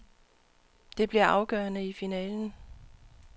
Det bliver afgørende i finalen.